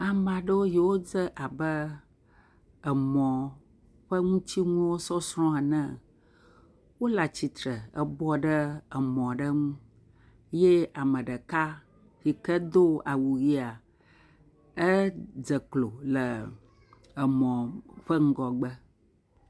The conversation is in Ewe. amaɖewo yiwo dze abe emɔ ƒe ŋutsiŋuwo sɔsrɔ enea wóle atsitsre e bɔbɔ ɖe mɔ ɖe ŋu ye meɖeka yike dó awu yia edze klo ɖe emɔ ƒe ŋgɔgbe